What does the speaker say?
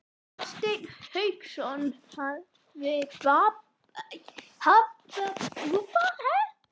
Hafsteinn Hauksson: Hafa tryggingarnar bætt þér þetta?